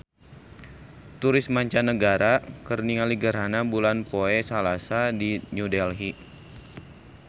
Turis mancanagara keur ningali gerhana bulan poe Salasa di New Delhi